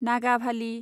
Nagavali